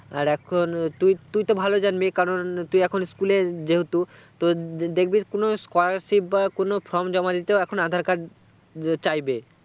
আর এখন তুইতুই তো ভালো জানবি কারণ তুই এখন school এ যেহেতু তো দেখবি কোনো scholarship বা কোনো from এখন aadhar card চাইবে